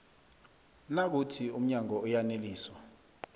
nayikuthi umnyango uyaneliswa